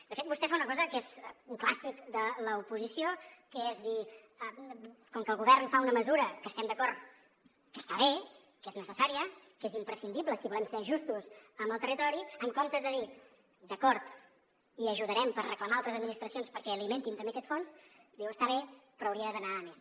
de fet vostè fa una cosa que és un clàssic de l’oposició que és dir com que el govern fa una mesura que estem d’acord que està bé que és necessària que és imprescindible si volem ser justos amb el territori en comptes de dir d’acord hi ajudarem per reclamar a altres administracions perquè alimentin també aquest fons diu està bé però hauria d’anar a més